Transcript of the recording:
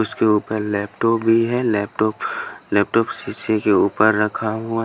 उसके ऊपर लैपटॉप भी है लैपटॉप लैपटॉप शीशे के ऊपर रखा है।